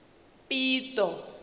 pito